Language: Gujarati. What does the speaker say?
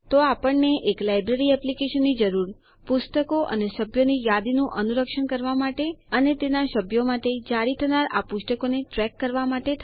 તો આપણને એક લાઈબ્રેરી એપ્લીકેશનની જરૂર પુસ્તકો અને સભ્યોની યાદીનું અનુરક્ષણ કરવા માટે અને તેના સભ્યો માટે જારી થનાર આ પુસ્તકોને ટ્રેક કરવા માટે